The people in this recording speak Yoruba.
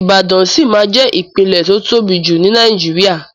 Ibàdàn ṣí ma jẹ́ ìpínlẹ̀ tó tóbi jù ní Nàìjíría.